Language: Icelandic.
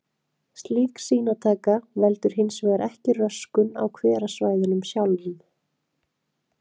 Slík sýnataka veldur hins vegar ekki röskun á hverasvæðunum sjálfum.